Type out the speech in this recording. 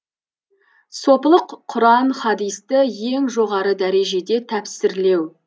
сопылық құран хадисті ең жоғары дәрежеде тәпсірлеу